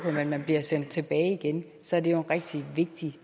at man bliver sendt tilbage igen så er det jo en rigtig vigtig